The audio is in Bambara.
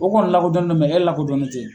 O kɔni lakodɔnnen do e lakodɔnnen tɛ.